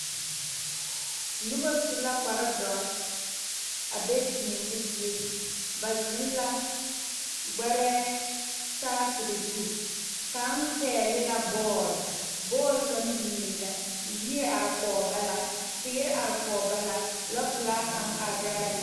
Noba su la kpare doɔre a be deɛmo zie ba zeŋ la gbɛre saakere zu kaŋ pegle la bool ,boole kaŋ biŋ la yiri are kɔŋ ba la teere are kɔŋ ba la lɔ pelaa kaŋa are la be.